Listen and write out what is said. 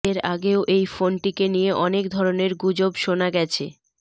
এর আগেও এই ফোনটিকে নিয়ে অনেক ধরনের গুজব শোনা গেছে